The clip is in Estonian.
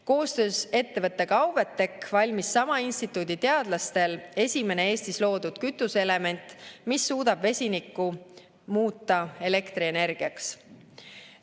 Koostöös ettevõttega Auve Tech valmis sama instituudi teadlastel esimene Eestis loodud kütuseelement, mis suudab vesinikku muuta elektrienergiaks.